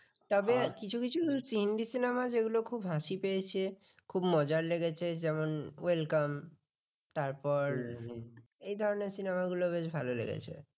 এ ধরনের cinema গুলো খুব ভালো লেগেছে।